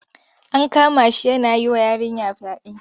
An kama shi yana yi wa yarinya fyaɗe.